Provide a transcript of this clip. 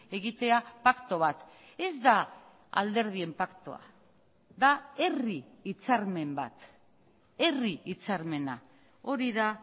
egitea paktu bat ez da alderdien paktua da herri hitzarmen bat herri hitzarmena hori da